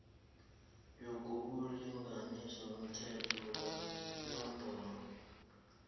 yobulungiswa umthetho wenomboro